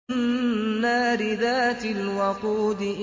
النَّارِ ذَاتِ الْوَقُودِ